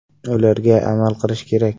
Ularga amal qilish kerak.